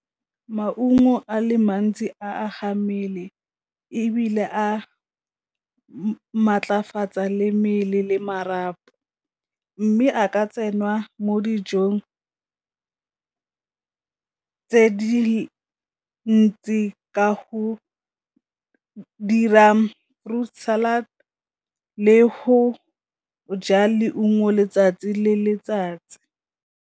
Maungo a le mantsi a ga mmele, ebile a maatlafatsa le mmele le marapo. Mme a ka tsenngwa mo dijong tse di ntsi ka go dira fruit salad le go ja leungo letsatsi le letsatsi.